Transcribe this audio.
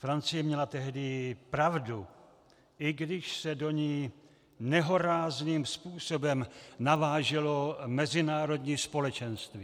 Francie měla tehdy pravdu, i když se do ní nehorázným způsobem naváželo mezinárodní společenství.